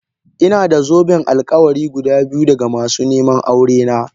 Ina da zoben alkawari guda biyu daga masu neman aurena.